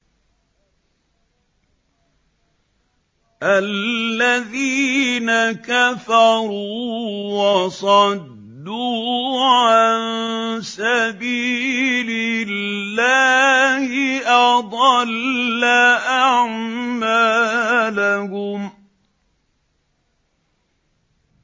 الَّذِينَ كَفَرُوا وَصَدُّوا عَن سَبِيلِ اللَّهِ أَضَلَّ أَعْمَالَهُمْ